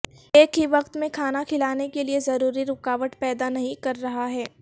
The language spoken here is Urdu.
ایک ہی وقت میں کھانا کھلانے کے لئے ضروری رکاوٹ پیدا نہیں کر رہا ہے